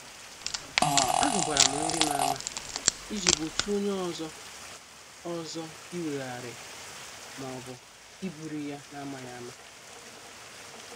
A hubaram nrim ama iji gbochie onye ọzọ ọzọ iweghari maọbụ iburu ya n' amaghị ama.